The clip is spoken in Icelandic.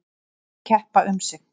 Lét þær keppa um sig.